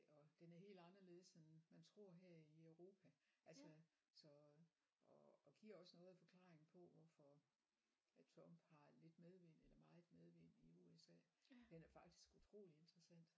Og den er helt anderledes end man tror her i Europa altså så og og giver også noget af forklaringen på hvorfor ja Trump har lidt medvind eller meget medvind i USA den er faktisk utrolig interessant